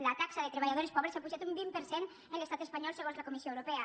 la taxa de treballadores pobres ha pujat un vint per cent en l’estat espanyol segons la comissió europea